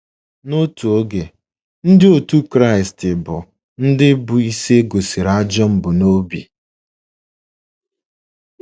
N’otu oge, Ndị otu Kraịst bụ ndị bụ́ isi e gosịrị ajọ mbunobi.